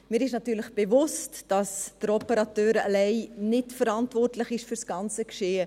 Mir ist natürlich bewusst, dass der Operateur allein nicht verantwortlich ist für das ganze Geschehen.